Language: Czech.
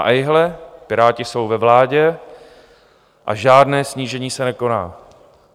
A ejhle, Piráti jsou ve vládě a žádné snížení se nekoná.